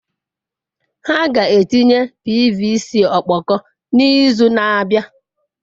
Ha ga-etinye pvc ọkpọkọ n'izu na-abịa.